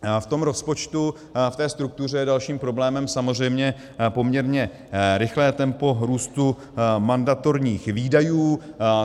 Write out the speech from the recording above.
V tom rozpočtu, v té struktuře je dalším problémem samozřejmě poměrně rychlé tempo růstu mandatorních výdajů.